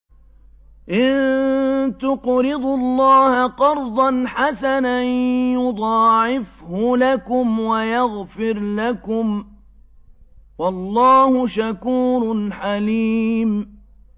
إِن تُقْرِضُوا اللَّهَ قَرْضًا حَسَنًا يُضَاعِفْهُ لَكُمْ وَيَغْفِرْ لَكُمْ ۚ وَاللَّهُ شَكُورٌ حَلِيمٌ